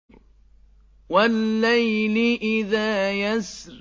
وَاللَّيْلِ إِذَا يَسْرِ